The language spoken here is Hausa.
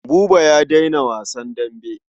Buba ya daina wasan dambe.